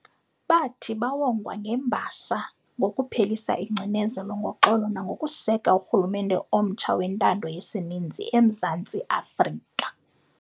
bathi bawongwa ngembasa ngokuphelisa ingcinezelo ngoxolo nangokuseka urhulumente omtsha wentando yesininzi eMzantsi Afrika.